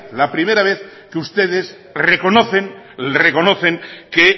la primera vez que ustedes reconocen que